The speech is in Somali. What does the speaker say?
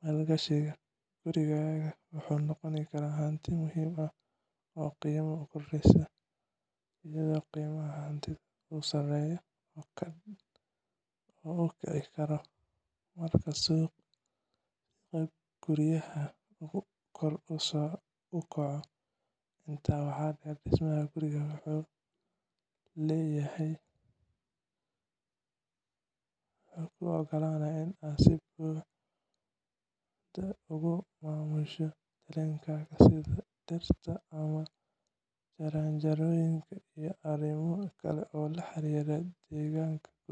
maalgashigaaga. Gurigaaga wuxuu noqon karaa hanti muhiim ah oo qiimo korodhsata, iyadoo qiimaha hantida uu sare u kici karo marka suuqa guryaha uu kor u kaco. Intaa waxaa dheer, dhismaha guri wuxuu kuu ogolaanayaa inaad si buuxda ugu maamusho deegaankaaga, sida dhirta, jardiinooyinka, iyo arrimo kale oo la xiriira deegaanka gurigaaga.